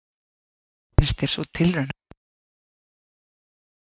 Hvernig finnst þér sú tilraun hafa heppnast að bæta við deild?